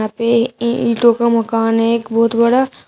वे ये ईटो का मकान है एक बहुत बड़ा--